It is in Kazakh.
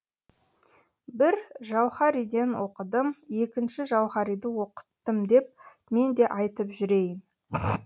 бір жауһариден оқыдым екінші жауһариді оқыттым деп мен де айтып жүрейін